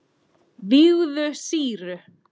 vígðu sýru.